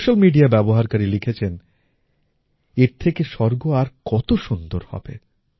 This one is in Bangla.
একজন সোশ্যাল মিডিয়া ব্যবহারকারী লিখেছেন এর থেকে স্বর্গ আর কত সুন্দর হবে